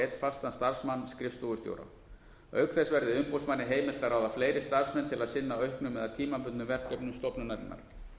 einn fastan starfsmann skrifstofustjóra auk þess verði umboðsmanni heimilt að ráða fleiri starfsmenn til að sinna auknum eða tímabundnum verkefnum stofnunarinnar